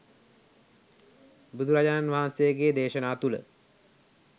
බුදුරජාණන් වහන්සේගේ දේශනා තුළ